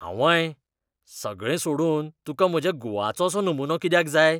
आंवय, सगळें सोडून तुका म्हज्या गुवाचोसो नमुनो कित्याक जाय?